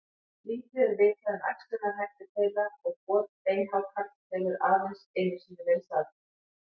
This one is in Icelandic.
Lítið er vitað um æxlunarhætti þeirra og got beinhákarls hefur aðeins einu sinni verið staðfest.